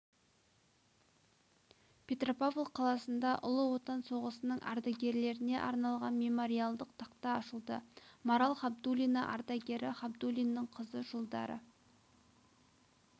петропавл қаласында ұлы отан соғысының ардагерлеріне арналған мемориалдық тақта ашылды марал хабдулина ардагері хабдулиннің қызы жылдары